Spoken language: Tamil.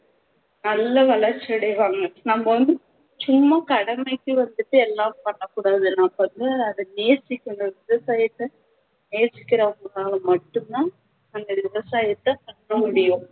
நல்ல வளர்ச்சி அடைவாங்க நம்ம வந்து சும்மா கடமைக்கு வந்துட்டு எல்லாம் பண்ணக்கூடாது நம்ம வந்து நேசிக்கணும் விவசாயத்தை நேசிக்கிறவங்கனால மட்டும்தான் அந்த விவசாயத்தை தக்க முடியும்